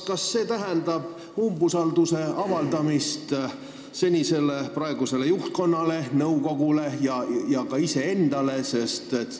Kas see tähendab umbusalduse avaldamist praegusele juhtkonnale, nõukogule ja ka iseendale?